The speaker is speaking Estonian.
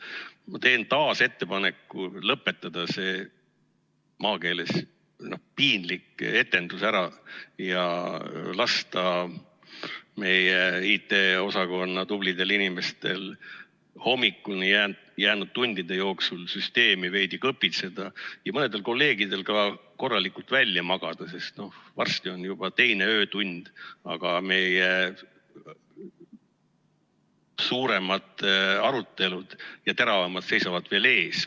Ma teen taas ettepaneku lõpetada see maakeeles piinlik etendus ära ja lasta meie IT-osakonna tublidel inimestel hommikuni jäänud tundide jooksul süsteemi veidi kõpitseda ja mõnedel kolleegidel ka korralikult välja magada, sest varsti on juba teine öötund, aga meie suuremad ja teravamad arutelud seisavad veel ees.